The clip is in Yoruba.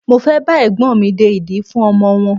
Mo fẹ́ bá Ẹ̀gbọ́n mi de ìdí fún ọmọ wọn.